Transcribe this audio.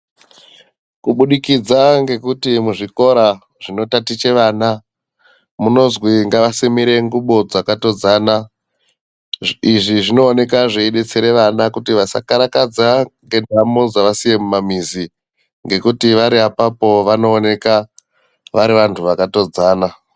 Kubudikidza ngekuti muzvikora zvinotatiche vana munozwi ngavasimire ngubo dzakatodzana izvi zvinooneka zveidetsera vana kuti vasakarakadza ngendamo dzavasiya mumamizi ngekuti vari apapo vanooneka vari vanthu vakatodzana .